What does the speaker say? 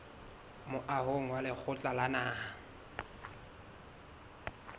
moahong wa lekgotla la naha